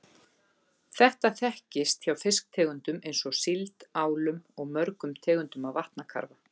Þetta þekkist hjá fiskitegundum eins og síld, álum og mörgum tegundum af vatnakarfa.